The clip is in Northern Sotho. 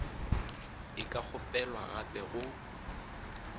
e ka kgopelwa gape go